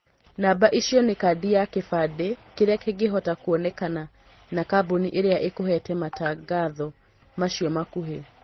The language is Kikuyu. Namba icio nĩ kandi ya kĩbandĩ kĩrĩa kĩngĩhota kwonekana na kambuni ĩrĩa ĩkũhete matangatho macio makuhĩ